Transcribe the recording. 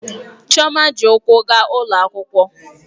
Chioma ji ụkwụ gaa ụlọ akwụkwọ